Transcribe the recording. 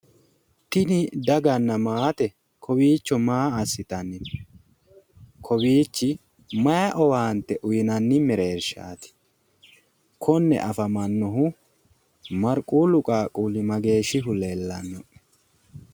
Tini daganna maate kowiichcho maa assitanni no kowiichchi mayi owaante uyiinanni mereershaati konne afamannohu marquullu qaaqquulli mageeshshihu leellanno